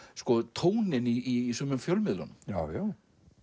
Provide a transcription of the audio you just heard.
tóninn í sumum fjölmiðlunum já já